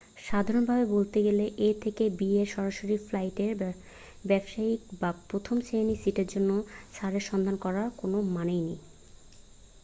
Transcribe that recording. সাধারণভাবে বলতে গেলে a থেকে b এর সরাসরি ফ্লাইটে ব্যবসায়ীক বা প্রথম শ্রেণির সিটের জন্য ছাড়ের সন্ধান করার কোন মানে নেই